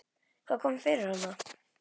Hvað kom fyrir hann?